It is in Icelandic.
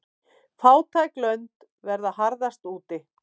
Fátæk lönd verða harðast úti.